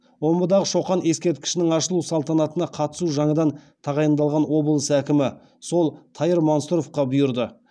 омбыдағы шоқан ескерткішінің ашылу салтанатына қатысу жаңадан тағайындалған облыс әкімі сол тайыр мансұровқа бұйырды